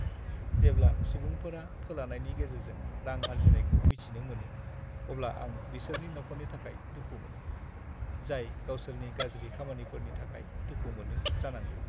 जेब्ला सुबुंफोरा फोलानायनि गेजेरजों रां आरजिनायखौ मिथिनो मोनो, अब्ला आं बिसोरनि नखरनि थाखाय दुखु मोनो, जाय गावसोरनि गाज्रि खामानिफोरनि थाखाय दुखु मोनो जानांगौ।